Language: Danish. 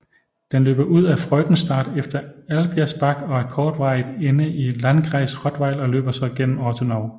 Den løber ud af Freudenstadt efter Alpirsbach og er kortvarigt inde i landkreis Rottweil og løber så gennem Ortenau